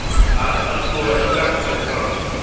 Arnar skoraði strax fyrir Fram